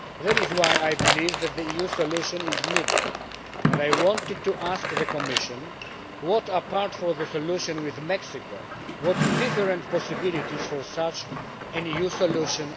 That is why I believe that the EU solution is needed and I wanted to ask the Commission what, apart from the solution with Mexico, are the different possibilities for such an EU solution?